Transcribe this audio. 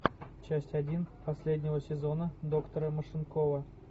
часть один последнего сезона доктора машинкова